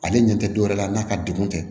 Ale ɲɛ tɛ dɔwɛrɛ ye n'a ka degun tɛ